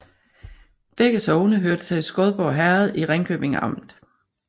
Begge sogne hørte til Skodborg Herred i Ringkøbing Amt